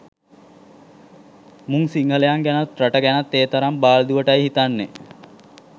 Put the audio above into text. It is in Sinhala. මුං සිංහලයන් ගැනත් රට ගැනත් ඒතරං බාල්දුවටයි හිත්නනේ